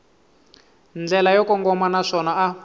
ndlela yo kongoma naswona a